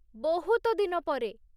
ବହୁତ ଦିନ ପରେ।